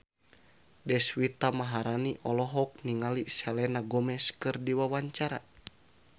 Deswita Maharani olohok ningali Selena Gomez keur diwawancara